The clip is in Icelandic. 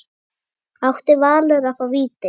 Átti Valur að fá víti?